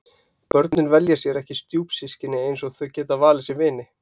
Börnin velja sér ekki stjúpsystkini eins og þau geta valið sér vini.